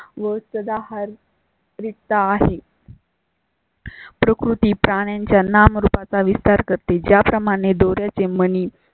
वस्ताद, आहार रिता आहे. प्रकृती प्राण्यांच्या नामरुपा चा विस्तार कर तील ज्या प्रमाणे दोऱ्या चे मणी